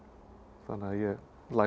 þannig að ég lagði í